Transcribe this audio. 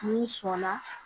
N'i sɔnna